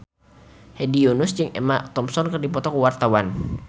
Hedi Yunus jeung Emma Thompson keur dipoto ku wartawan